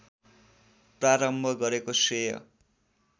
प्रारम्भ गरेको श्रेय